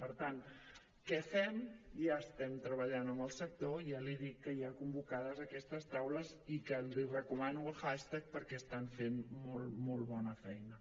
per tant què fem ja estem treballant amb el sector ja li dic que hi ha convocades aquestes taules i que els recomano el hashtag perquè estan fent molt molt bona feina